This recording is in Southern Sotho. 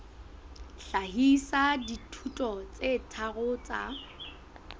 hlahisa dithuto tse tharo tsa